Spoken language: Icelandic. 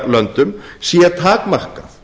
heiðarlöndum sé takmarkað